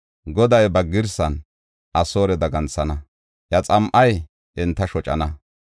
Goday ba girsan Asoore daganthana; iya xam7ay enta shocana.